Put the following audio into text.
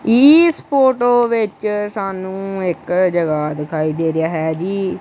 ਇਸ ਫੋਟੋ ਵਿੱਚ ਸਾਨੂੰ ਇੱਕ ਜਗਾ ਦਿਖਾਈ ਦੇ ਰਿਹਾ ਹੈ ਜੀ--